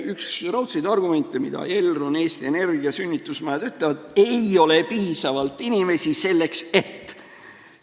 Üks raudseid argumente, mida Elron, Eesti Energia ja sünnitusmajad toovad, on see, et ei ole piisavalt inimesi, selleks et ...